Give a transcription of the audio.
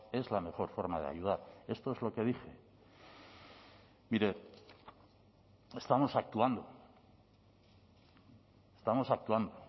es la mejor forma de ayudar esto es lo que dije mire estamos actuando estamos actuando